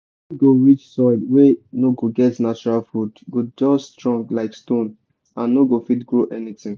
time go reach soil wey no get natural food go just strong like stone and no go fit grow anything.